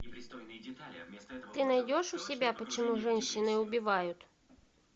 ты найдешь у себя почему женщины убивают